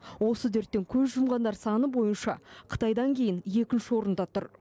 осы дерттен көз жұмғандар саны бойынша қытайдан кейін екінші орында тұр